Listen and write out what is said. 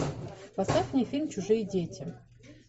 поставь мне фильм чужие дети